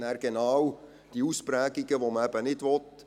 Man hat nachher genau die Ausprägungen, die man eben nicht will.